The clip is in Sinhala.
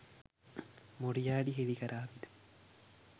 මොරියාටි හෙළි කරාවිද?